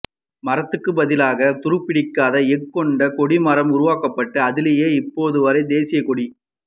மரத்துக்குப் பதிலாக துருப்பிடிக்காத எஃகு கொண்டு கொடி மரம் உருவாக்கப்பட்டு அதிலேயே இப்போது வரை தேசிய கொடி